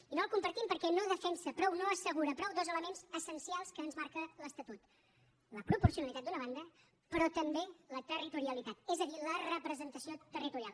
i no el compartim perquè no defensa prou no assegura prou dos elements essencials que ens marca l’estatut la proporcionalitat d’una banda però també la territorialitat és a dir la representació territorial